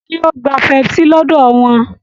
Ṣé o gba pepsi lọ́dọ̀ wọn